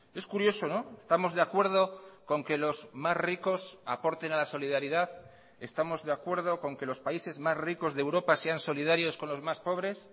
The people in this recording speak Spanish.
es curioso estamos de acuerdo con que los más ricos aporten a la solidaridad estamos de acuerdo con que los países más ricos de europa sean solidarios con los más pobres